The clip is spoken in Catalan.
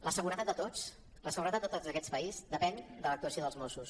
la seguretat de tots la seguretat de tots en aquest país depèn de l’actuació dels mossos